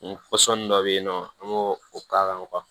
dɔ bɛ yen nɔ an b'o k'a kan